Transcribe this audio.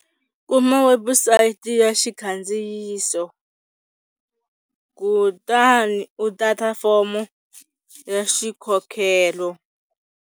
Kuma webusayiti ya xikandziyiso kutani u data fomo ya xikhokhelo.